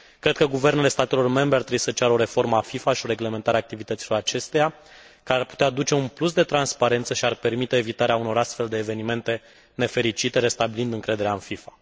Cred că guvernele statelor membre ar trebuie să ceară o reformă a FIFA și o reglementare a activităților acesteia, care ar putea aduce un plus de transparență și ar permite evitarea unor astfel de evenimente nefericite, restabilind încrederea în FIFA.